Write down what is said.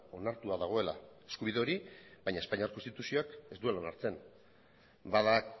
onartua dagoela eskubide hori baina espainiar konstituzioak ez duela onartzen bada